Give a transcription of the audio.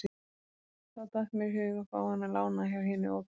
Þá datt mér í hug að fá hana lánaða hjá hinu opinbera.